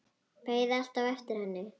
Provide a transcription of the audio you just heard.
Beið alltaf eftir henni.